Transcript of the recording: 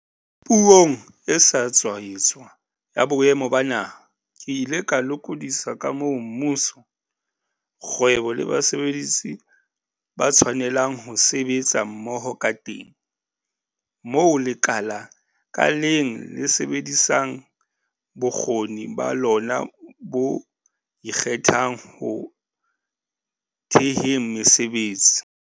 Puong e sa tswa etswa ya Boemo ba Naha, ke ile ka lokodisa ka moo mmuso, kgwebo le basebetsi ba tshwanelang ho sebetsa mmoho kateng, moo lekala ka leng le sebedisang bokgoni ba lona bo ikgethang ho theheng mesebetsi.